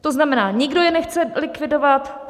To znamená, nikdo je nechce likvidovat.